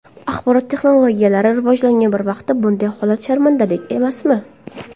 Axborot texnologiyalari rivojlangan bir vaqtda bunday holat sharmandalik emasmi?